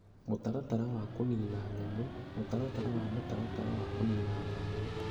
Mũtaratara wa Kũniina Nyamũ Mũtaratara wa Mũtaratara wa Kũniina Nyamũ